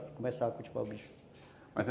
começar a cultivar o bicho.